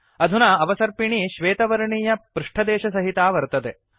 अधुना अवसर्पिणी श्वेतवर्णीय पृष्टदेशसहिता वर्तते